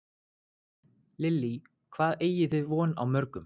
Lillý: Hvað eigið þið von á mörgum?